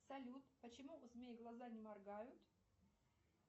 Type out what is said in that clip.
салют почему у змей глаза не моргают